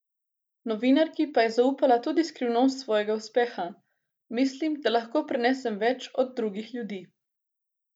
Novinarki pa je zaupala tudi skrivnost svojega uspeha: 'Mislim, da lahko prenesem več od drugih ljudi.